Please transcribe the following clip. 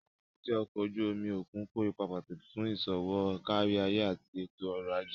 Àwọn èbúté ọkọ̀ ojú omi òkun kó ipa pàtàkì fún iṣowo káríayé àti ètò ọ̀rọ̀ ajé